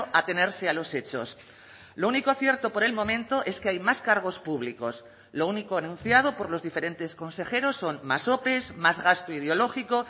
atenerse a los hechos lo único cierto por el momento es que hay más cargos públicos lo único anunciado por los diferentes consejeros son más ope más gasto ideológico